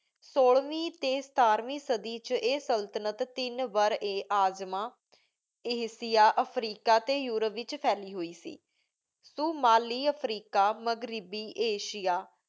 ਸੋਲਵੀ ਟੀ ਸਿਤਾਰ੍ਵ੍ਯਨ ਸਾਡੀ ਵਿਚ ਆਯ ਸੁਲ੍ਤਾਨਤ ਤੀਨ ਬਾਰਿਆਜ੍ਮਾ ਆਸਿਆ ਅਫ੍ਰੀਕਾ ਟੀ ਯੂਰੋਪ ਵਿਚ ਪਹੇਲੀ ਹੋਏ ਸੇ ਸ਼ੁਮਾਲੀ ਅਫ੍ਰੀਕਾ ਮਾਘ੍ਰ੍ਬੀ ਆਸਿਆ